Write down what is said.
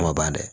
Kuma ban dɛ